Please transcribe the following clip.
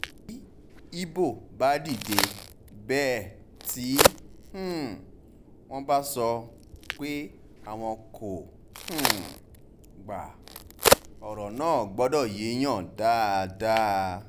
bí ibo bá dìde bẹ́ẹ̀ tí um wọ́n bá sọ bá sọ pé àwọn kò um gba ọ̀rọ̀ náà gbọ́dọ̀ yéèyàn dáadáa